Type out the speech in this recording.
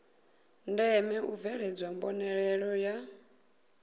ndeme u bveledzwa mbonalelo ya